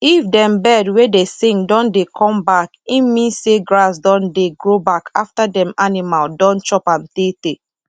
if dem bird wey dey sing don dey come backe mean say grass don dey grow back after dem animal don chop am tey tey